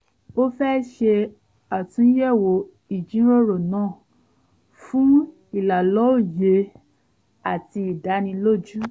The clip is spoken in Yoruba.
ó fẹ́ ṣe àtúnyẹ̀wò ìjíròrò náà fún ìlàlọ́ye àti ìdánilójú